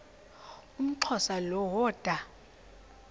umxhosa lo woda